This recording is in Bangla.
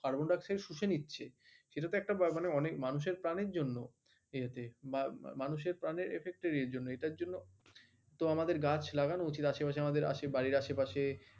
কার্বন ডাই অক্সাইড শুষে নিচ্ছে সেটা মানুষের প্রাণের জন্য বা মানুষের প্রাণের affect এর জন্য এটার জন্য তো আমাদের গাছ লাগানো উচিৎ আশেপাশে আমাদের বাড়ীর আশেপাশে